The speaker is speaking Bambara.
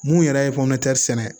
Mun yɛrɛ ye sɛnɛ